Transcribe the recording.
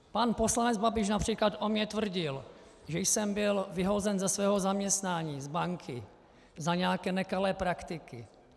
Pan poslanec Babiš například o mně tvrdil, že jsem byl vyhozen ze svého zaměstnání z banky za nějaké nekalé praktiky.